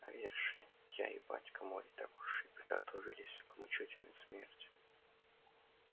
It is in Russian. а веришь ли я и батька мой так уж и приготовились к мученической смерти